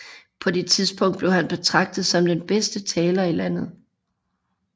På det tidspunkt blev han betragtet som den bedste taler i landet